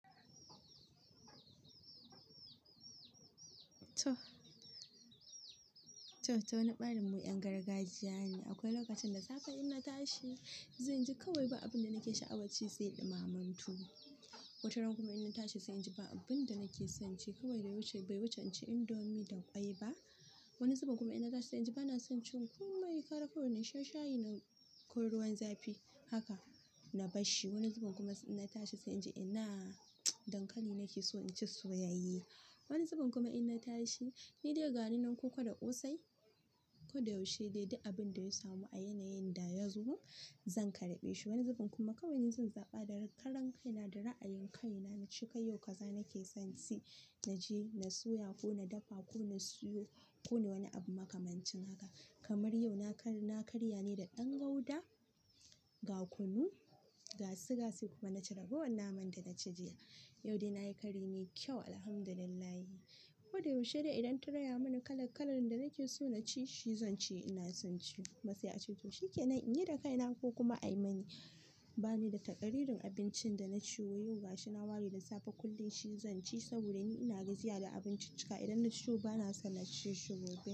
Toh, toh ta wani ɓarin mu 'yan gargajiya ne. Akwai lokacin da safe in na tashi, zanji kawai ba abin da nake sha'awar ci sai ɗumaman tuwo. Wata ran kuma in na tashi sai inji ba abin da nake son ci kawai bai wuce bai wuce in ci indomie da ƙwai ba. Wani zubin kuma in na tashi sai inji ba na son cin komai, kara kawai na sha shayi na ko ruwan zafi haka na basshi. Wani zubin kuma in na tashi sai inji ina dankali nake so in ci soyayye. Wani zubin kuma in na tashi, ni dai gani nan koko da ƙosai ko da yaushe dai duk abin da ya samu a yanayin da ya zo zan karɓe shi. Wani zubin kuma kawai ni zan zaɓa da karan kaina da ra'ayin kaina na ci. Kai yau kaza nake son ci naje na soya ko na dafa ko na siyo ko wani abu makamancin haka. Kamar yau na kar, na karya ne da ɗan gauda, gakunu, ga suga sai kuma na ci ragowan naman da na ci jiya. Yau dai na yi kari mai kyau Alhamdulillah. Ko da yaushe dai idan ta raya mani kala kalan da nake so na ci shi zan ci ina son ci. Kuma sai a ce to shi ke nan inyi da kaina ko kuma ayi mani bani da takaririn abincin da na ce yau. Gashi na ware da safe kullum shi zan ci saboda ni ina gajiya da abincin cika. Idan na ci yau, ba na son na ci shi gobe.